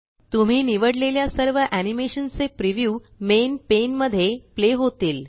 तुम्ही निवड्लेल्या सर्व एनीमेशन चे प्रीव्यू मेन पेन मध्ये प्ले होतील